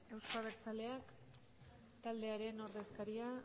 euzko abertzaleak taldearen ordezkaria